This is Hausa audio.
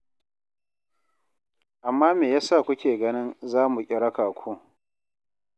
Amma me ya sa kuke ganin za mu ƙi raka ku?